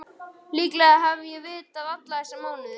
Líklega hef ég vitað það alla þessa mánuði.